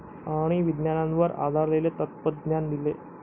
आणि विज्ञानावर आधारलेले तत्त्वज्ञान दिले.